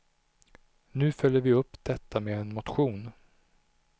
Nu följer vi upp detta med en motion.